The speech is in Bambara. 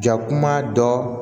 Jakuma dɔ